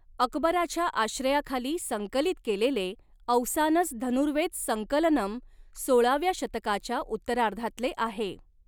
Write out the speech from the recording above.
अकबराच्या आश्रयाखाली संकलित केलेले औसानस धनुर्वेद संकलनम सोळाव्या शतकाच्या उत्तरार्धातले आहे.